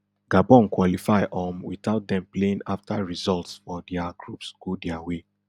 gabon qualify um without dem playing afta results for dia groups go dia way